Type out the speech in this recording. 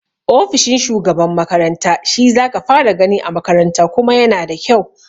Ofishin shugaban makaranta shi zaka fara gani a makaranta kuma yana da kyau